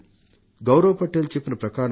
గౌరవ్ పటేల్ చెప్పింది ఇదీ